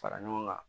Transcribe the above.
Fara ɲɔgɔn kan